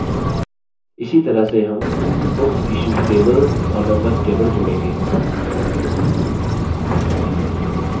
इसी तरह से हम booksissued table और members table जोड़ेंगे